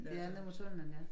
Ja nede mod tunnelen ja